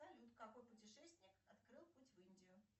салют какой путешественник открыл путь в индию